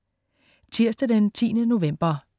Tirsdag den 10. november